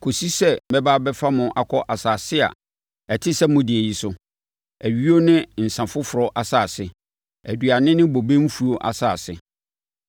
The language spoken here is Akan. kɔsi sɛ mɛba abɛfa mo akɔ asase a ɛte sɛ mo deɛ yi so, ayuo ne nsã foforɔ asase, aduane ne bobe mfuo asase.